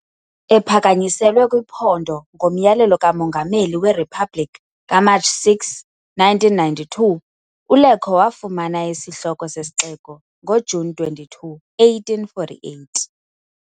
Ephakanyiselwe kwiphondo ngomyalelo kaMongameli weRiphabhlikhi kaMatshi 6, 1992, uLecco wafumana isihloko sesixeko ngoJuni 22, 1848.